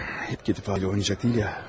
İp gedib qayda oynamayacaq ki.